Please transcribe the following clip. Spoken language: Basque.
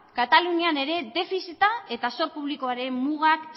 katalunian ere defizita eta zor publikoaren mugak